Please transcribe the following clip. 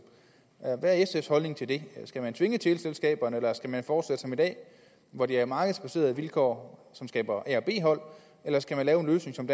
hvad er sfs holdning til det skal man tvinge teleselskaberne eller skal man fortsætte som i dag hvor det er markedsbaserede vilkår som skaber a og b hold eller skal man lave en løsning som